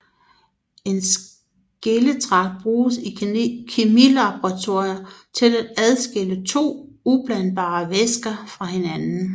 En skilletragt bruges i kemilaboratorier til at adskille to ublandbare væsker fra hinanden